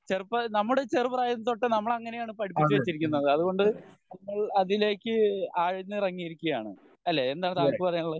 ചെറുപ്പ നമ്മുടെ ചെറുപ്രായത്തിൽ തൊട്ട് നമ്മളെ അങ്ങിനെയാണ് പഠിപ്പിച്ച് വെച്ചിരിക്കുന്നത് അതുകൊണ്ട് നമ്മൾ അതിലേക്ക് ആഴ്ന്ന് ഇറങ്ങിയിരിക്കുകയാണ് അല്ലെ? എന്താണ് താങ്കൾക്ക് പറയാൻ ഉള്ളത്